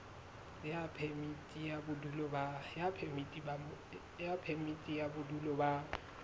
ya phemiti ya bodulo ba